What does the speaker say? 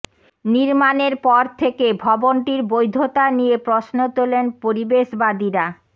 নির্মাণের পর থেকে ভবনটির বৈধতা নিয়ে প্রশ্ন তোলেন পরিবেশবাদীরা